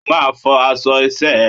O máa fọ aṣọ iṣẹ́ ẹ!